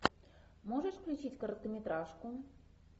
можешь включить короткометражку